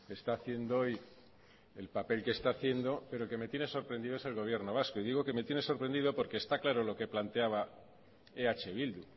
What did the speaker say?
está haciendo hoy el papel que está haciendo pero el que me tiene sorprendido es el gobierno vasco y digo que me tiene sorprendido porque está claro lo que planteaba eh bildu